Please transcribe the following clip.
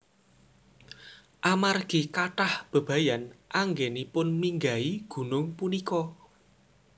Amargi kathah bebayan anggenipun minggahi gunung punika